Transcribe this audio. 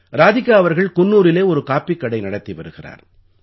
ராதிகா அவர்கள் குன்னூரிலே ஒரு காப்பிக் கடை நடத்தி வருகிறார்